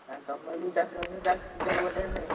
ଆଉ ତମର ବି ଚାଷ ବାସ ଚାଲିଛି ଆଉ।